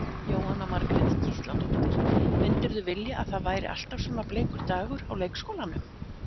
Jóhanna Margrét Gísladóttir: Myndirðu vilja að það væri alltaf svona bleikur dagur á leikskólanum?